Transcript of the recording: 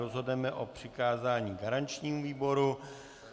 Rozhodneme o přikázání garančnímu výboru.